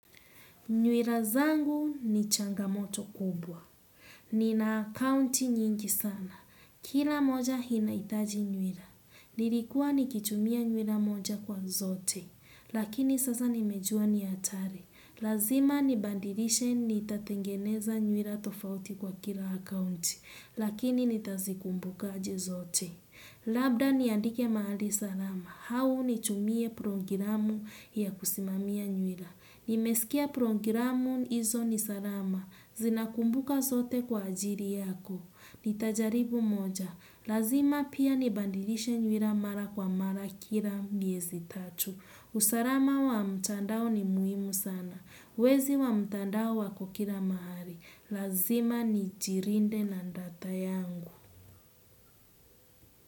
Nywira zangu ni changamoto kubwa. Nina akaunti nyingi sana. Kila moja hinaitaji nywira. Nilikuwa ni kitumia nywira moja kwa zote. Lakini sasa nimejua ni atari. Lazima nibandirishe nitatengeneza nywira tofauti kwa kila akaunti. Lakini nitazikumbuka aje zote. Labda niandike mahali salama. Hawu nitumie prongiramu ya kusimamia nywira. Nimesikia prongiramu hizo nisarama. Zinakumbuka zote kwa ajiri yako. Nitajaribu moja. Lazima pia nibandilishe nyuira mara kwa mara kila miezi tatu. Usarama wa mtandao ni muhimu sana. Wezi wa mtandao wako kila mahali. Lazima nijirinde na ndata yangu.